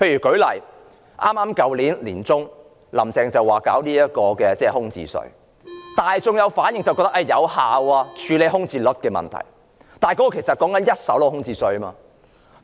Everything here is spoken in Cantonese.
舉例說，"林鄭"去年年中說要實施空置稅，大眾的反應是這可有效處理空置率的問題，但那只是針對一手樓宇的空置稅。